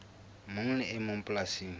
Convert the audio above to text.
mong le e mong polasing